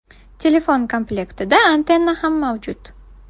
Telefon komlektida antenna ham mavjud.